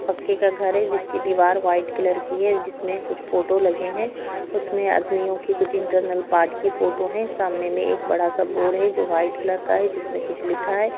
पक्के का घर है जिसकी दीवार व्हाइट कलर की है जिसमें कुछ फोटो लगे हैं उसमें आदमियों की कुछ इन्टर्नल पार्ट की फोटो हैं सामने में एक बड़ा-सा बोर्ड है जो व्हाइट कलर का है जिसमें कुछ लिखा है।